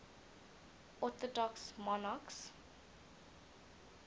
orthodox monarchs